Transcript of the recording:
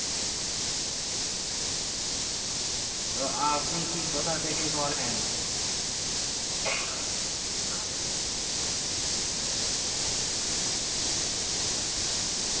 তো আর আপনি কি কোথাথেকে করেন আমি ninety five percent depended on online